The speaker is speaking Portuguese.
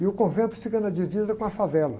E o convento fica na divisa com a favela.